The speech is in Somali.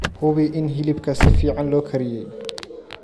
Hubi in hilibka si fiican loo kariyey.